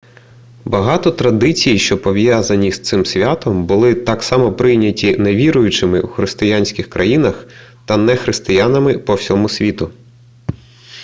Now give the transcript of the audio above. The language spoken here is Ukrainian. багато традицій що пов'язані з цим святом були так само прийняті невіруючими у християнських країнах та нехристиянами по всьому світу